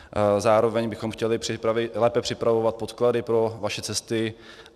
Zároveň bychom chtěli lépe připravovat podklady pro vaše cesty.